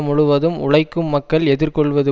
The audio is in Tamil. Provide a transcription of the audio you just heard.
முழுவதும் உழைக்கும் மக்கள் எதிர்கொள்வது